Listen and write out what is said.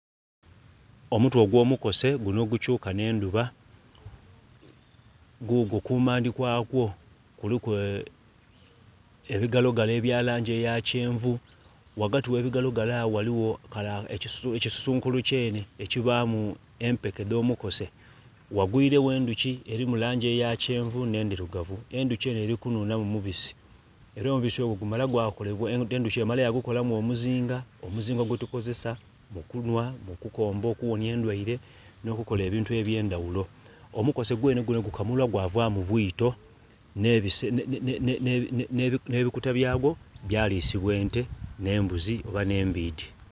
Omutwe ogw'omukose guno ogukyuka nhendhuba gugwo, kumandhi kwakwo kuliku ebigalogalo ebya langi eya kyenvu wagati webigalogalo awo waliwo ekisusunkulu kyene ekibaamu empeke dh'omukose, wagwirewo endhuki eli mu langi eya kyenvu nh'endhirugavu. Endhuki eno eli kunhunhamu mubisi era omubisi ogwo gumala gwakolebwa, endhuki emala yagukolamu omuzinga. Omuzinga gwetukozesa mu kunhwa, mu kukomba okuwonhya endhwaire nh'okukola ebintu eby'endhawulo. Omukose gwene gukamulwa gwavamu bwiito nh'ebikuta byagwo byalisibwa ente, n'embuzi oba n'embiidhi.